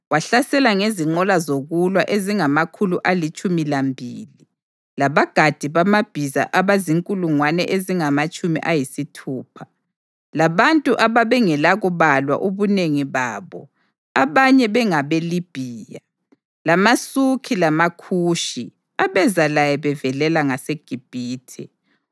Wahlasela ngezinqola zokulwa ezingamakhulu alitshumi lambili labagadi bamabhiza abazinkulungwane ezingamatshumi ayisithupha, labantu abangelakubalwa ubunengi babo abanye bengabeLibhiya, lamaSukhi labaKhushi abeza laye bevelela ngaseGibhithe,